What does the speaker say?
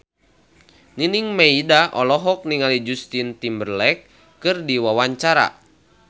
Nining Meida olohok ningali Justin Timberlake keur diwawancara